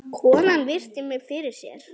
Konan virti mig fyrir sér.